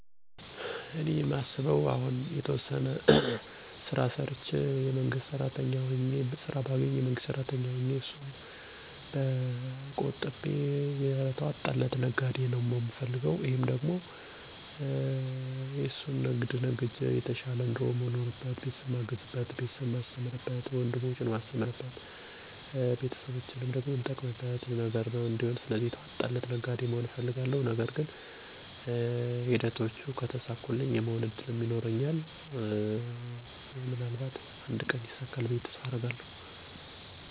በህይወቴ ላሳካው ምፈልገው ግብ የተዋጣለት የንግድ ሠው መሆን ነው። ይህንን ግብ የፈላኩበት ምክንያት ሙያውን ወይም ስራውን ስለምወደው እና የልጅነቴ ህልም ስለሆነ ነው። በዚህም ስራ የራሴን እና የቤተሰቤን ህይወት ለመለወጥ አስባለሁ። ይህንን ግብ ለማሳካትም በአሁኑ ሰዓት በዘርፉ ልምድ ያላቸው ሰዎችን በማማከር እና የገበያ ጥናት በማድረግ ወደ ስራ ለመግባት እየሞከርኩ ነው።